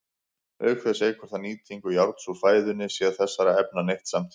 Auk þess eykur það nýtingu járns úr fæðunni sé þessara efna neytt samtímis.